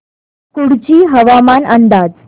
कुडची हवामान अंदाज